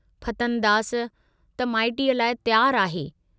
फतनदास त माइटीअ लाइ तियार आहे।